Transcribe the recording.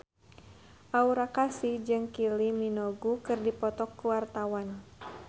Aura Kasih jeung Kylie Minogue keur dipoto ku wartawan